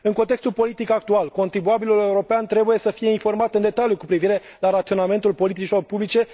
În contextul politic actual, contribuabilul european trebuie să fie informat în detaliu cu privire la raționamentul politicilor publice.